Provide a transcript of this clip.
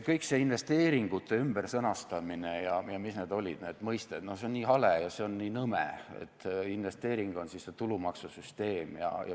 Kõik see investeeringute ümbersõnastamine ja mis need olid need mõisted, see on nii hale ja see on nii nõme, et investeering on see tulumaksusüsteem.